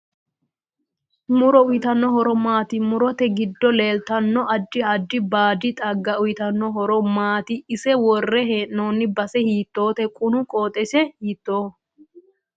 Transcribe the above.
Muro uyiitanno horo maati murote giddo leeltanno addi addi baadi xaaga uyiitanno horo maati ise worre heenooni base hotoote quni qooxesi hitoooho